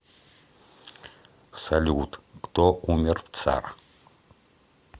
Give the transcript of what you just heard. салют кто умер в цар